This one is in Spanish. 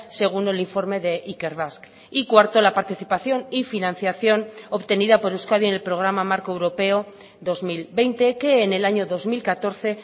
según el informe de ikerbasque y cuarto la participación y financiación obtenida por euskadi en el programa marco europeo dos mil veinte que en el año dos mil catorce